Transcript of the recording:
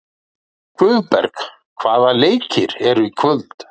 Guðberg, hvaða leikir eru í kvöld?